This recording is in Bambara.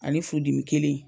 Ale furudimi kelen in